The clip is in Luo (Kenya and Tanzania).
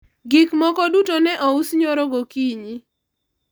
gik moko duto ne ous nyoro gokinyi